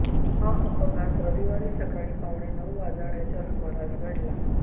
हा अपघात रविवारी सकाळी पावणे नऊ वाजण्याच्या सुमारास घडला